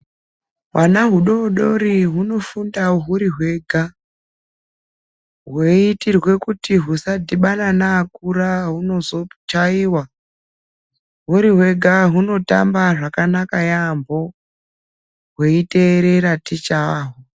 Hwana hu dodori huno funda huri hwega hweitirwe kuti hwusa dhibana nei akura hwuno zochaiwa huri hwega huno tamba zvakanaka yamho hwei terera ticha wahwo.